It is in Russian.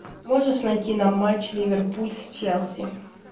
можешь найти нам матч ливерпуль с челси